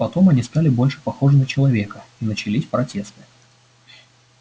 потом они стали больше похожи на человека и начались протесты